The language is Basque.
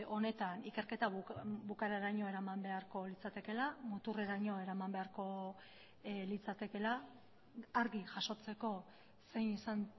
honetan ikerketa bukaeraraino eraman beharko litzatekeela muturreraino eraman beharko litzatekeela argi jasotzeko zein izan